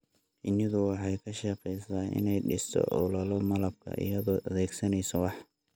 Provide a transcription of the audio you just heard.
Shinnidu waxay ka shaqeysaa inay dhisto awlallo malabka iyadoo adeegsanaysa wax.